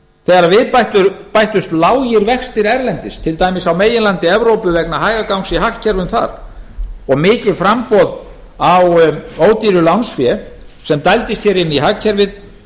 þegar við bættust lágir erlendis til dæmis á meginlandi evrópu vegna hægagangs í hagkerfum þar og mikið framboð á ódýru lánsfé sem dældist hér inn í hagkerfið